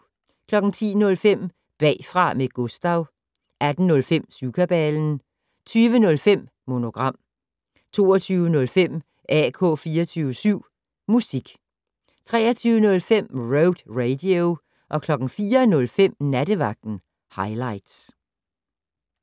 10:05: Bagfra med Gustav 18:05: Syvkabalen 20:05: Monogram 22:05: AK 24syv Musik 23:05: Road Radio 04:05: Nattevagten Highligts